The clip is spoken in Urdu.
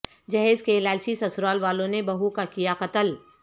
جہیز کے لالچی سسرال والوں نےبہو کا کیا قتل